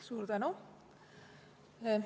Suur tänu!